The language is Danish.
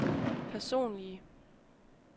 personlige